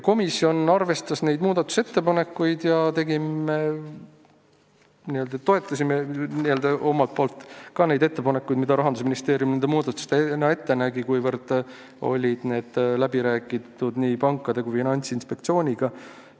Komisjon arvestas neid muudatusettepanekuid, mis Rahandusministeerium välja pakkus, kuna need olid läbi räägitud nii pankade kui Finantsinspektsiooniga.